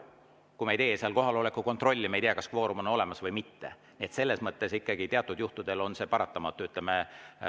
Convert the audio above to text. Kui me ei tee seal kohaloleku kontrolli, siis me ei tea, kas kvoorum on olemas või mitte, nii et selles mõttes ikkagi teatud juhtudel on see paratamatu.